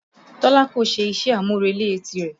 Tọ́lá kò ṣe iṣẹ́-àmúrelé ti rẹ̀